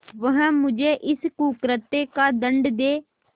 वह मुझे इस कुकृत्य का दंड दे